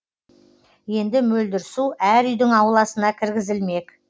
енді мөлдір су әр үйдің ауласына кіргізілмек